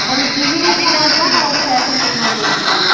கோயம்புத்தூர்ல எல்லாமே சொல்லி தரங்காலமா பா